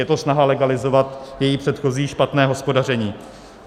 Je to snaha legalizovat její předchozí špatné hospodaření.